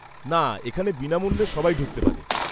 না, এখানে বিনামুল্যে সবাই ঢুকতে পারে।